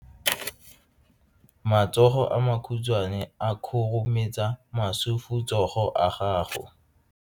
Matsogo a makhutshwane a khurumetsa masufutsogo a gago.